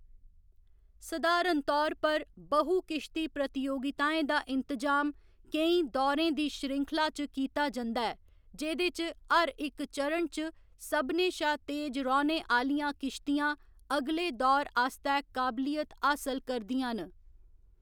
सधारण तौर पर, बहु किश्ती प्रतियोगिताएं दा इंतजाम केईं दौरें दी श्रृंखला च कीता जंदा ऐ, जेह्‌‌‌दे च हर इक चरण च सभनें शा तेज रौह्‌‌‌ने आह्‌‌‌लियां किश्तियां अगले दौर आस्तै काबलियत हासल करदियां न।